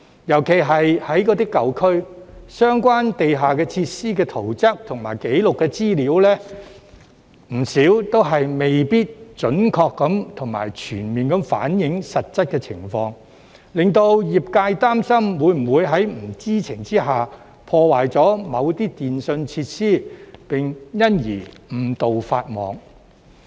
尤其是在舊區，相關地下設施的圖則紀錄資料，不少都未必準確和全面反映實質情況，令業界擔心會否在不知情之下，破壞某些電訊設施，並因而誤墮法網。